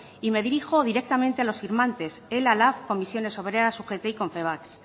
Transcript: y me dirijo directamente a los firmantes ela lab comisiones obreras ugt y confebask